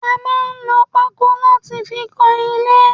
A máa ń lò pako láti fi kan ilé